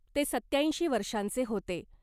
ते सत्याऐंशी वर्षांचे होते .